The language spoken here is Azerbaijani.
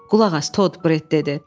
Qulaq as, Tod, Bret dedi.